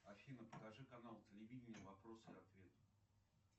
афина покажи канал телевидения вопросы и ответы